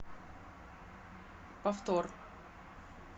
повтор